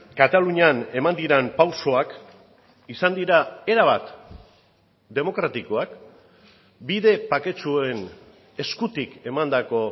katalunian eman diren pausoak izan dira erabat demokratikoak bide baketsuen eskutik emandako